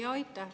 Aitäh!